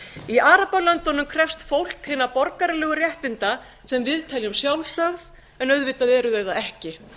í arabalöndunum krefst fólk hinna borgaralegu réttinda sem við teljum sjálfsögð en auðvitað eru þau það ekki